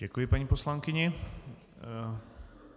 Děkuji paní poslankyni.